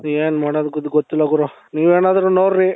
ಏನ್ ಮಾಡದು ಗುರು ಗೊತ್ತಿಲ್ಲ ಗುರು ನೀವು ಏನಾದ್ರು ನೋಡ್ರಿ